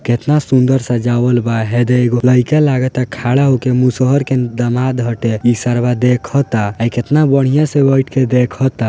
केतना सुंदर सजावल बा हे देखी लाइका लगाता खड़ा मुसहर के दामाद हटे इस सार वा देखाता इ केतना बढ़िया से बैठ के देखाता।